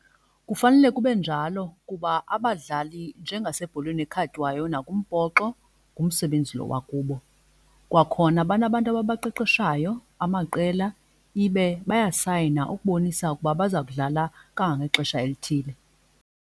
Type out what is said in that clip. Kufanele kube njalo kuba abadlali njengasebholeni ekhatywayo nakumbhoxo ngumsebenzi lo wakubo. Kwakhona banabantu ababaqeqeshayo amaqela ibe bayasayina ukubonisa ukuba baza kudlala kangangexesha elithile.